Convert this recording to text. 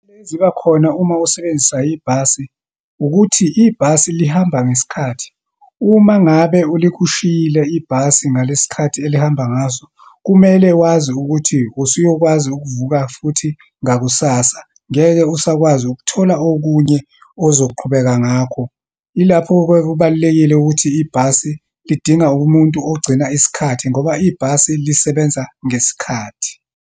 Eziba khona uma usebenzisa ibhasi, ukuthi ibhasi lihamba ngesikhathi. Uma ngabe ilikushiyile ibhasi ngalesikhathi elihamba ngaso, kumele wazi ukuthi usuyokwazi ukuvuka futhi ngakusasa, ngeke usakwazi ukuthola okunye ozoqhubeka ngakho. Ilapho-ke kubalulekile ukuthi ibhasi lidinga umuntu ogcina isikhathi, ngoba ibhasi lisebenza ngesikhathi.